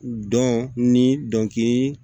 Dɔn ni dɔnkili